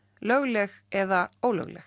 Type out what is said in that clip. lögleg eða ólögleg